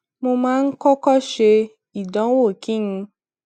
mo máa ń kókó ṣe ìdánwò kí n